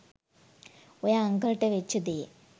ඔය අංකල්ට වෙච්ච දේ